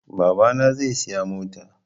Babana zai siya mota